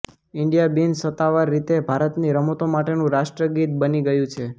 India બિનસત્તાવાર રીતે ભારતની રમતો માટેનું રાષ્ટ્રગીત બની ગયું છે